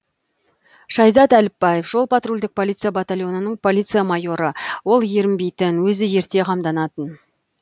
шайзат әліпбаев жол патрульдік полиция батальонының полиция майоры ол ерінбейтін өзі ерте қамданатын